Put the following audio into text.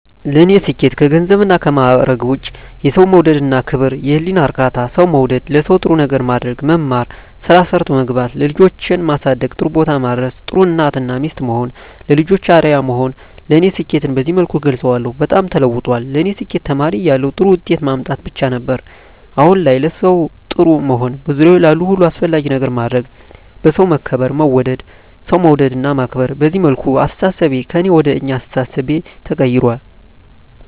ለኔ ስኬት ከገንዘብና ከማዕረግ ውጭ የሠው መውደድ እና ክብር፤ የህሊና እርካታ፤ ሠው መውደድ፤ ለሠው ጥሩ ነገር ማድረግ፤ መማር፤ ስራ ሠርቶ መግባት፤ ልጆቼን ማሠደግ ጥሩቦታ ማድረስ፤ ጥሩ እናት እና ሚስት መሆን፤ ለልጆቼ አርያ መሆን ለኔ ስኬትን በዚህ መልኩ እገልፀዋለሁ። በጣም ተለውጧል ለኔ ስኬት ተማሪ እያለሁ ጥሩ ውጤት ማምጣት ብቻ ነበር። አሁን ላይ ለሠው ጥሩ መሆን፤ በዙሪያዬ ላሉ ሁሉ አስፈላጊ ነገር ማድረግ፤ በሠው መከበር መወደድ፤ ሠው መውደድ እና ማክበር፤ በዚህ መልኩ አስተሣሠቤ ከእኔ ወደ አኛ አስተሣሠቤ ተቀይራል።